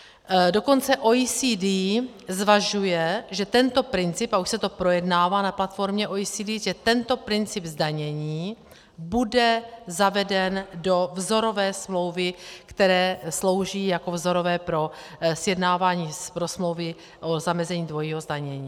Dokonce OECD zvažuje, že tento princip, a už se to projednává na platformě OECD, že tento princip zdanění bude zaveden do vzorové smlouvy, které slouží jako vzorové pro sjednávání pro smlouvy o zamezení dvojího zdanění.